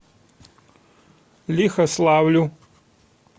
лихославлю